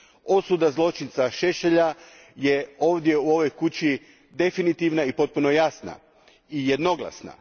Osuda zločinca Šešelja je ovdje u ovoj kući definitivna i potpuno jasna i jednoglasna.